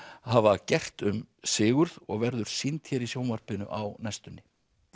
hafa gert um Sigurð og verður sýnd hér í sjónvarpinu á næstunni